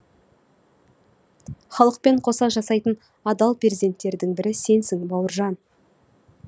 халықпен қоса жасайтын адал перзенттердің бірі сенсің бауыржан